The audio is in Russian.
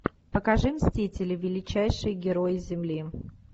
покажи мстители величайшие герои земли